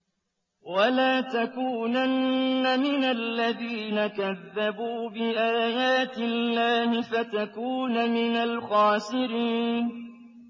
وَلَا تَكُونَنَّ مِنَ الَّذِينَ كَذَّبُوا بِآيَاتِ اللَّهِ فَتَكُونَ مِنَ الْخَاسِرِينَ